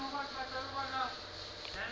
ha be ho se ho